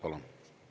Palun!